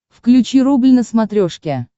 включи рубль на смотрешке